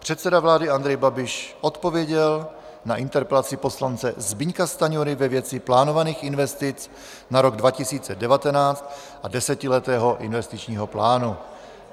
Předseda vlády Andrej Babiš odpověděl na interpelaci poslance Zbyňka Stanjury ve věci plánovaných investic na rok 2019 a desetiletého investičního plánu.